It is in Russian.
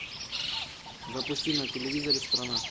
запусти на телевизоре страна